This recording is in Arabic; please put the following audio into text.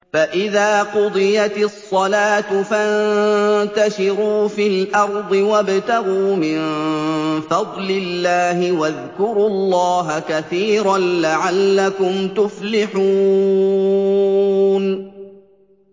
فَإِذَا قُضِيَتِ الصَّلَاةُ فَانتَشِرُوا فِي الْأَرْضِ وَابْتَغُوا مِن فَضْلِ اللَّهِ وَاذْكُرُوا اللَّهَ كَثِيرًا لَّعَلَّكُمْ تُفْلِحُونَ